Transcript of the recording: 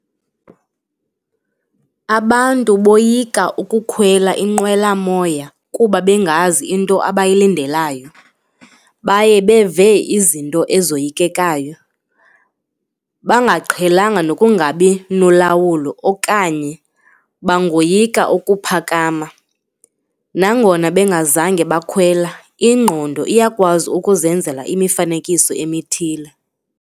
Abantu boyika ukukhwela inqwelamoya kuba bengazi into abayilandelayo. Baye beve izinto ezoyikekayo, bangaqhelananga nokungabi nolawulo okanye bangoyika ukuphakama nangona bengazange bakhwela, ingqondo iyakwazi ukuzenzela imifanekiso emithile